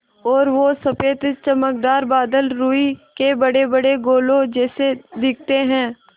और वो सफ़ेद चमकदार बादल रूई के बड़ेबड़े गोलों जैसे दिखते हैं